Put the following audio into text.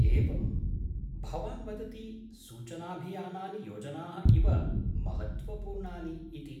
एवम्, भवान् वदति सूचनाभियानानि योजनाः इव महत्त्वपूर्णानि इति।